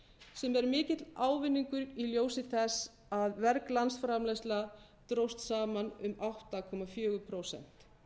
sem er mikill ávinningur í ljósi þess að verg landsframleiðsla dróst saman um átta komma fjögur prósent